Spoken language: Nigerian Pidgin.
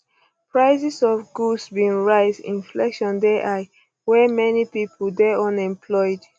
um prices of goods bin rise inflation dey um high wey many pipo dey unemployed